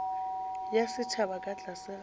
ya setšhaba ka tlase ga